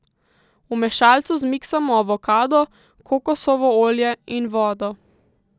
V mešalcu zmiksamo avokado, kokosovo olje in vodo.